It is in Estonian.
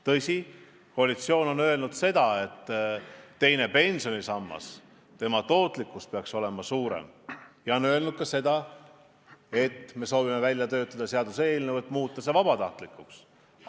Tõsi, koalitsioon on öelnud, et teise pensionisamba tootlikkus peaks olema suurem, ja on öelnud ka seda, et me soovime välja töötada seaduseelnõu, et muuta see vabatahtlikuks.